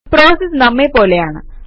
processes നമ്മെ പോലെയാണ്